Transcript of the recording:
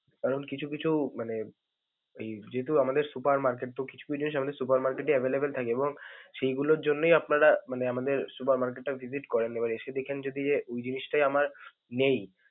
কারণ কিছু কিছু মানে এই যেহেতু আমাদের supermarket তো কিছু জিনিস আমাদের supermarket এ available থাকে এবং সেইগুলোর জন্যই আপনারা মানে আমাদের supermarket টা visit এবারে যদি এ ওই জিনিসটাই আমার নেই।